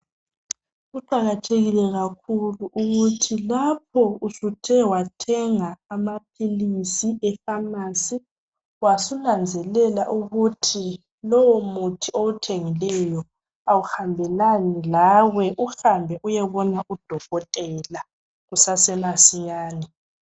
Kuqakathekile kakhulu ukuthi lapho usuthe wathenga amaphilisi efamasi wasunanzelela ukuthi lowo muthi owuthengileyo awuhambe lani lawe uhambe uyebona udokotela kusase masinyane.